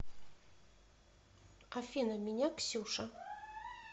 афина меня ксюша